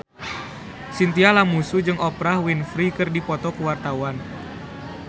Chintya Lamusu jeung Oprah Winfrey keur dipoto ku wartawan